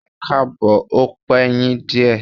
Ẹkáàbọ̀, ó pe yín díè.